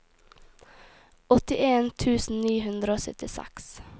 åttien tusen ni hundre og syttiseks